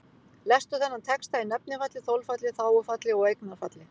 Lestu þennan texta í nefnifalli, þolfalli, þágufalli og eignarfalli.